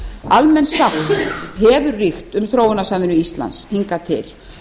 almenn sátt hefur ríkt um þróunarsamvinnu íslands hingað til